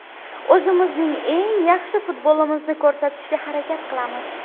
O‘zimizning eng yaxshi futbolimizni ko‘rsatishga harakat qilamiz.